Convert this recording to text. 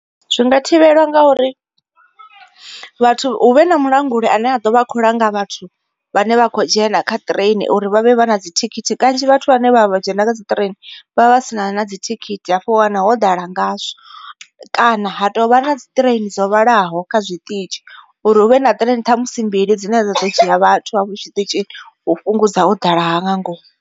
Zwi nga thivhela ngauri, vhathu hu vhe na mulanguli ane a ḓovha a kho langa vhathu vhane vha kho dzhena kha train uri vha vhe vha na dzi thikhithi. Kanzhi vhathu vhane vha vha vha dzhena kha dzi train vhavha vha si na na dzi thikhithi hafho u wana ho ḓala ngazwo. Kana ha tovha na dzi train dzo vhalaho kha zwiṱitshi uri huvhe na train ṱhamusi mbili dzine dza ḓo dzhia vhathu hafho tshiṱitshini u fhungudza u ḓala ha nga ngomu.